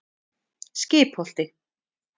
Skipholti